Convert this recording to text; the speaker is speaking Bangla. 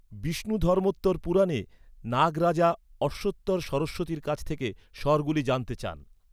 বিষ্ণুধর্মোত্তর পুরাণে, নাগ রাজা অশ্বতর সরস্বতীর কাছ থেকে স্বরগুলি জানতে চান।